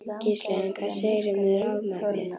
Gísli: En hvað segirðu með rafmagnið?